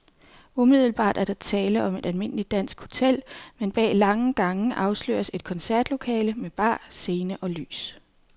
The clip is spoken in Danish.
Umiddelbart er der tale om et almindeligt dansk hotel, men bag lange gange afsløres et koncertlokale med bar, scene og lys.